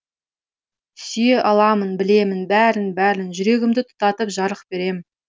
сүйе аламын білемін бәрін бәрін жүрегімді тұтатып жарық берем